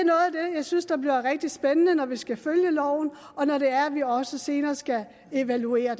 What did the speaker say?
jeg synes bliver rigtig spændende når vi skal følge loven og når det er vi også senere skal evaluere